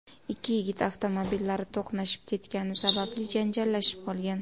Ikki yigit avtomobillari to‘qnashib ketgani sababli janjallashib qolgan.